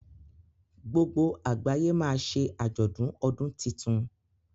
gbogbo àgbáyé ma ṣe ajọdun ọdún títún.